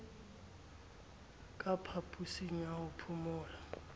ka phaposing ya ho phomola